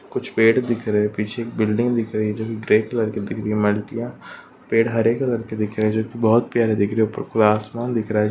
कुछ पेड़ दिख रहे है पीछे एक बिल्डिंग दिख रही है जो कि ग्रे कलर की दिख रही है पेड़ हरे कलर की दिख रहे है जो कि बहुत प्यारे दिख रहे है ऊपर आसमान दिख रहा है जो--